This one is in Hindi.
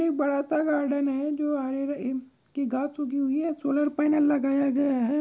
एक बड़ा सा गार्डन है जो हरे रंग ई की घास उगी हुई है। सोलर पैनल लगाया गया है।